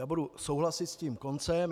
Já budu souhlasit s tím koncem.